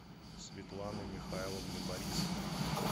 светланы михайловны борисовой